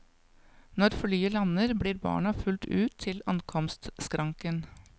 Når flyet lander, blir barna fulgt ut til ankomstskranken.